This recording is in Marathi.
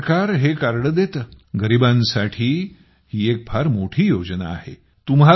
भारत सरकार हे कार्ड देते गरीबांसाठी ही एक फार मोठी योजना आहे